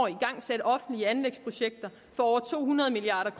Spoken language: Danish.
igangsat offentlige anlægsprojekter for over to hundrede milliard